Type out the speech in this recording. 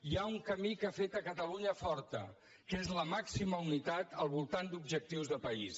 hi ha un camí que ha fet catalunya forta que és la màxima unitat al voltant d’objectius de país